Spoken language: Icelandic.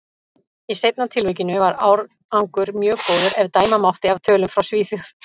Í seinna tilvikinu var árangur mjög góður, ef dæma mátti af tölum frá Svíþjóð.